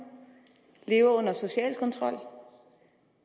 lever under social kontrol